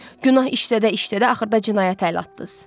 Günah işlədə-işlədə axırda cinayətə əl atdınız.